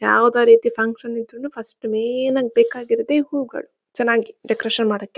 ಯಾವದೋ ರೀತಿ ಫಕ್ಷನ್ ಇದ್ರುನು ಫಸ್ಟ್ ಮೇನ್ ಆಗಬೇಕಾಗಿರೋದು ಈ ಹೂವುಗಳು ಚನ್ನಾಗಿ ಡೆಕೋರೇಷನ್ ಮಾಡಕ್ಕೆ.